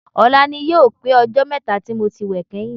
Ọ̀la ni yóò pé ọjọ́ mẹ́ta tí mo ti wẹ̀ kẹ́yìn